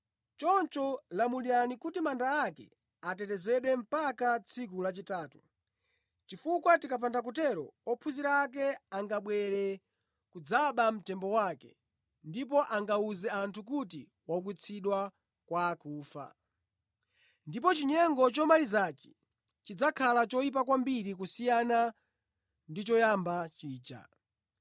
Choncho lamulirani kuti manda ake atetezedwe mpaka pa tsiku lachitatu. Chifukwa tikapanda kutero, ophunzira ake angabwere kudzaba mtembo wake ndipo angawuze anthu kuti waukitsidwa kwa akufa. Ndipo chinyengo chomalizachi chidzakhala choyipa kwambiri kusiyana ndi choyamba chija.”